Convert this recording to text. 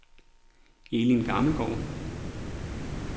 Elin Gammelgaard